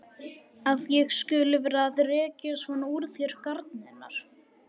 Að ég skuli vera að rekja svona úr þér garnirnar!